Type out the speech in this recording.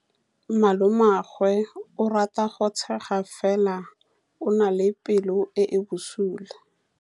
Malomagwe o rata go tshega fela o na le pelo e e bosula.